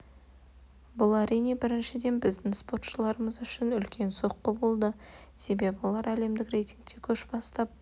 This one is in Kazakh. бұл әрине біріншіден біздің спортшыларымыз үшін үлкен соққы болды себебі олар әлемдік рейтингте көш бастап